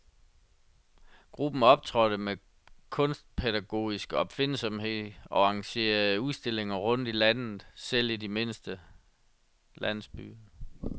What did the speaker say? Gruppen optrådte med kunstpædagogisk opfindsomhed og arrangerede udstillinger rundt i landet, selv i de mindste landsbyer.